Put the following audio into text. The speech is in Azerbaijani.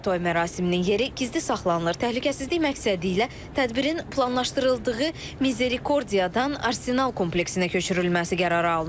Toy mərasiminin yeri gizli saxlanılır, təhlükəsizlik məqsədilə tədbirin planlaşdırıldığı Mizere Kordiyadan Arsenal kompleksinə köçürülməsi qərarı alınıb.